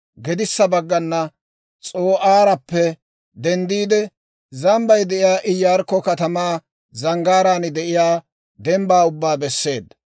gedissa baggana S'oo'aarappe denddiide, zambbay de'iyaa Iyaarikko katamaa, zanggaaraan de'iyaa dembbaa ubbaa besseedda.